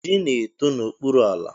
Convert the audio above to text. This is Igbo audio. Ji na-eto n'okpuru ala.